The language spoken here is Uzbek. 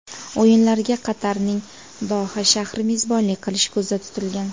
O‘yinlarga Qatarning Doha shahri mezbonlik qilishi ko‘zda tutilgan.